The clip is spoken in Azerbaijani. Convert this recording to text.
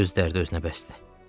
Öz dərdi özünə bəsdir.